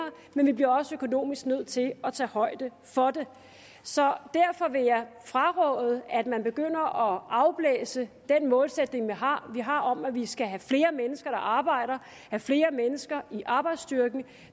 men vi bliver også økonomisk nødt til at tage højde for det så derfor vil jeg fraråde at man begynder at afblæse den målsætning vi har har om at vi skal have flere mennesker der arbejder og have flere mennesker i arbejdsstyrken